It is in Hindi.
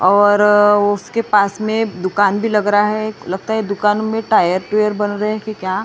और उसके पास में दुकान भी लग रहा है लगता है दुकान में टायर टुयर बन रहे है कि क्या --